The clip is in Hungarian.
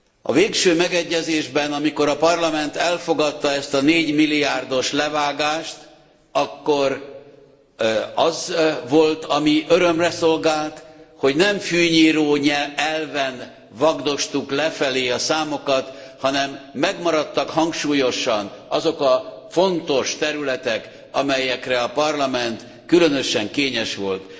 A végső megegyezésben, amikor a Parlament elfogadta ezt a négymilliárdos levágást, akkor az volt, ami örömömre szolgált, hogy nem fűnyíróelven vagdostuk lefelé a számokat, hanem megmaradtak hangsúlyosan azok a fontos területek, amelyekre a Parlament különösen kényes volt.